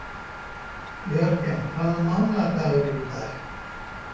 Jörgen, hvaða mánaðardagur er í dag?